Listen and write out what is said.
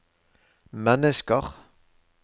mennesker